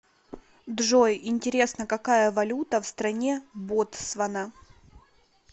джой интересно какая валюта в стране ботсвана